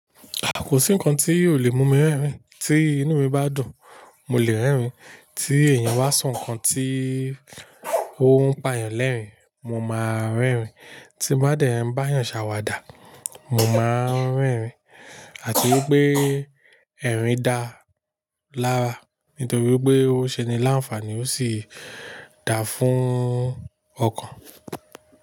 Kò sí nǹkan tí ò lè mú mi rẹ́rìn, tí inú mi bá dùn. Mo lè rẹ́rìn, tí èèyàn bá sọ nǹkan tí ó ń pa yàn lẹ́rìn, mo máa rẹ́rìn, tí bá dẹ̀ ń bá èèyàn ṣàwàdà. Mo máa ń rẹ́rìn àti wípé ẹ̀rín dá lára, nítorí pé ó ṣe ní láǹfààní, ó sì dá fún ọkàn.